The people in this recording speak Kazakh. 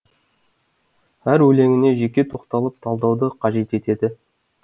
әр өлеңіне жеке тоқталып талдауды қажет етеді